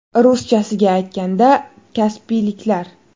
Ruschasiga aytganda – kaspiyliklar.